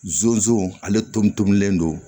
Zonzani ale tobilen don